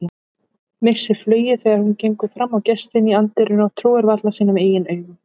Missir flugið þegar hún gengur fram á gestinn í anddyrinu, trúir varla sínum eigin augum.